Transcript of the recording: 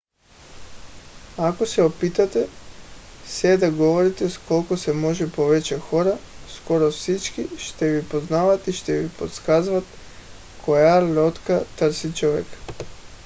ако се опитате се да говорите с колкото се може повече хора скоро всички ще ви познават и ще ви подсказват коя лодка търси човек